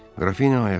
Qrafinya ayağa qalxdı.